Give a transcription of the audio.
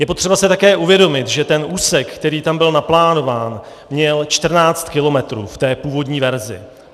Je potřeba si také uvědomit, že ten úsek, který tam byl naplánován, měl 14 kilometrů v té původní verzi.